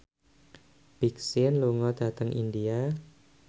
Big Sean lunga dhateng India